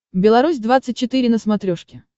беларусь двадцать четыре на смотрешке